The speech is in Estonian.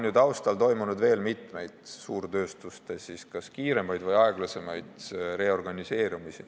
Taustal on ju toimunud veel mitmeid suurtööstuste kas kiiremaid või aeglasemaid reorganiseerumisi.